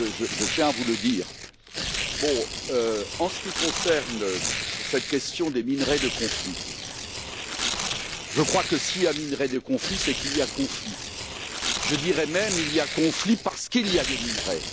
Je tiens à vous le dire. En ce qui concerne cette question des minerais de conflit, je crois que s'il y a minerais de conflit, c'est qu'il y a conflit, je dirais même il y a conflit parce qu'il y a des minerais.